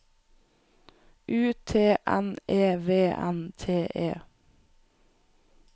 U T N E V N T E